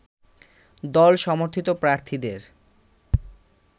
দলসমর্থিত প্রার্থীদের